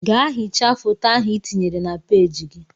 Gaa hichaa foto ahụ ị tinyere na peeji gị!